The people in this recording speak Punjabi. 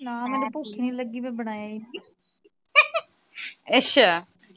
ਨਾ ਹਲੇ ਭੁੱਖ ਈ ਨਹੀਂ ਲੱਗੀ ਮੈ ਬਣਾਇਆ ਈ ਨਹੀਂ